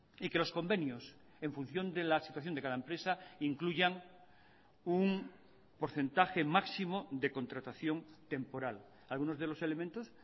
y que los convenios en función de la situación de cada empresa incluyan un porcentaje máximo de contratación temporal algunos de los elementos